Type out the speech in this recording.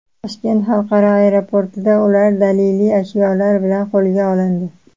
Toshkent xalqaro aeroportida ular daliliy ashyolar bilan qo‘lga olindi.